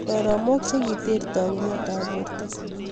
soromek chekiter tokunet ab Porto